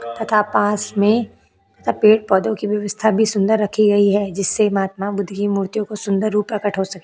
तथा पास में तथा पेड़ -पौधों की व्यवस्था भी सुंदर रखी गई है जिससे महात्मा बुद्ध की मूर्ति को सुंदर रूप प्रकट हो सके --